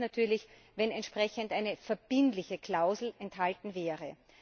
Am besten wäre es natürlich, wenn eine entsprechende verbindliche Klausel enthalten wäre.